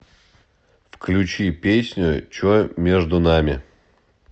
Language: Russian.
включи песню че между нами